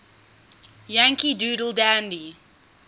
yankee doodle dandy